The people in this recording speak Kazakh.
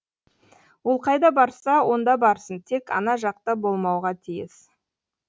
ол қайда барса онда барсын тек ана жақта болмауға тиіс